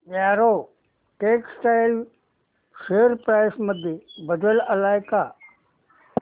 Arrow textiles share price मध्ये बदल आलाय का